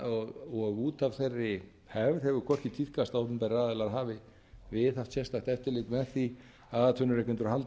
og út af þeirri hefð hefur hvorki tíðkast að opinberir aðilar hafi viðhaft sérstakt eftirlit með því að atvinnurekendur haldi